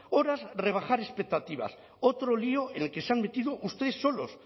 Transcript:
horas rebajar expectativas otro lío en el que se han metido ustedes solos